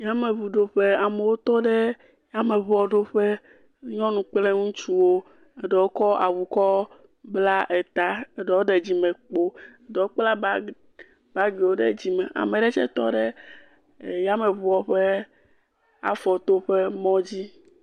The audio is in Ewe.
Yameŋuɖoƒe, amewo tɔ ɖe yameŋuɖoƒe, nyɔnu kpl ŋutsuwo ame aɖewo kɔ awu kɔ bla eta eɖewo ɖe dzimekpo eɖewo kpla bagiwo ɖe dzime eɖewo tse tɔ ɖe Yameŋua ƒe afɔtoƒe.